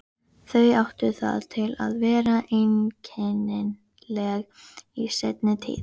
Þau áttu það til að vera einkennileg í seinni tíð.